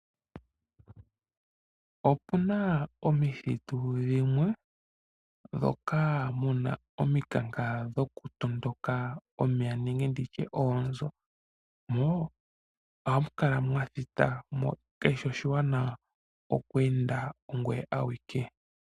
Opuna omithitu dhimwe dhoka muna ominkanka dhoku tondoka omeya nenge nditye oonzo, mo ohamu kala mwathita mo kashi shi oshiwaanawa oku enda ongoye awike.